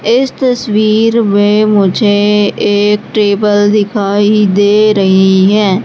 इस तस्वीर में मुझे एक टेबल दिखाई दे रही है।